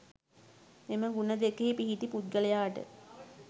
මෙම ගුණ දෙකෙහි පිහිටි පුද්ගලයාට